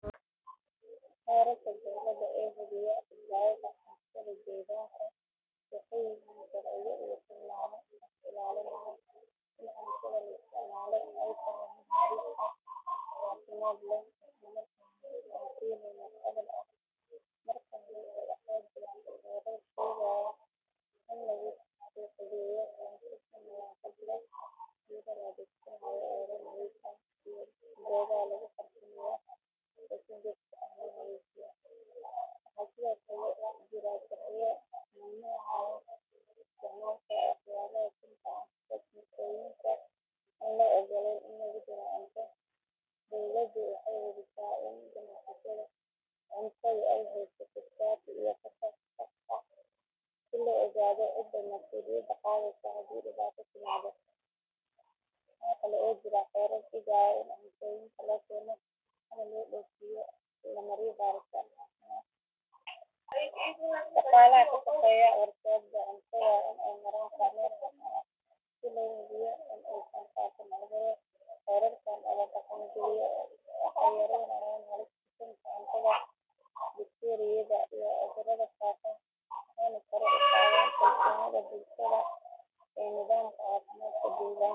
Xeerarka dowladda ee hubiya badbaadada cuntada deegaanka waxay yihiin sharciyo iyo tilmaamo lagu ilaalinayo in cuntada la isticmaalo ay tahay mid nadiif ah, caafimaad leh, isla markaana aan keenayn wax cudur ah. Marka hore waxaa jira xeerar sheegaya in lagu suuqgeeyo cunto si nadaafad leh iyadoo la adeegsanayo weelal nadiif ah iyo goobaha lagu farsameeyo oo si joogto ah loo nadiifiyo. Waxaa sidoo kale jira sharciyo mamnuucaya isticmaalka waxyaabaha sunta ah sida kiimikooyinka aan loo oggolayn in lagu daro cunto. Dowladdu waxay hubisaa in ganacsatada cuntada ay haystaan shati iyo fasax sax ah si loo ogaado cidda mas’uuliyadda qaadaysa haddii dhibaato timaado. Waxaa kale oo jira xeerar dhigaya in cuntooyinka la keeno ama la dhoofiyo la mariyo baaritaan caafimaad si loo hubiyo tayada. Shaqaalaha ka shaqeeya warshadaha cuntada waa in ay maraan kormeer caafimaad si loo hubiyo in aysan faafin cudurro. Xeerarkan oo la dhaqangeliyo waxay yaraynayaan halista sunta cuntada, bakteeriyada, iyo cudurrada faafa waxayna sare u qaadaan kalsoonida bulshada ee nidaamka caafimaadka deegaanka.